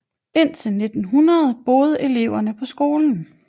Indtil 1900 boede eleverne på skolen